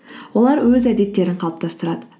олар өз әдеттерін қалыптастырады